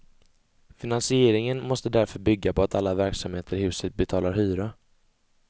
Finansieringen måste därför bygga på att alla verksamheter i huset betalar hyra.